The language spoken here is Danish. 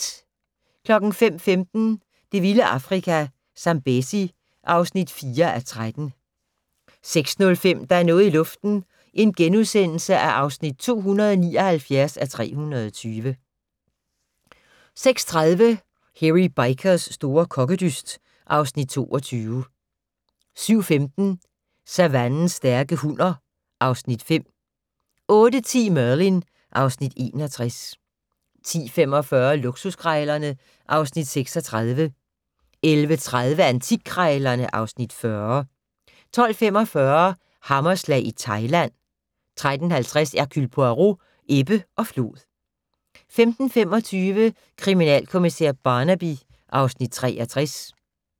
05:15: Det vilde Afrika - Zambezi (4:13) 06:05: Der er noget i luften (279:320)* 06:30: Hairy Bikers' store kokkedyst (Afs. 22) 07:15: Savannens stærke hunner (Afs. 5) 08:10: Merlin (Afs. 61) 10:45: Luksuskrejlerne (Afs. 36) 11:30: Antikkrejlerne (Afs. 40) 12:45: Hammerslag i Thailand 13:50: Hercule Poirot: Ebbe og flod 15:25: Kriminalkommissær Barnaby (Afs. 63)